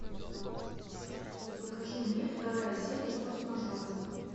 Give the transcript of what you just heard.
покажи мне вторая серия форс мажоры